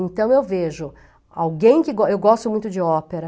Então, eu vejo alguém que... Eu go gosto muito de ópera.